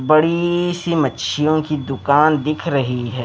बड़ीीीी सी मच्छियों की दुकान दिख रही है।